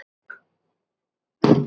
Gullið, hvorki meira né minna.